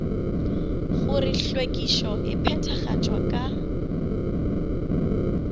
gore hlwekišo e phethagatšwa ka